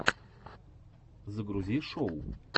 загрузи шоу